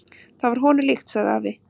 """Það var honum líkt, sagði afi."""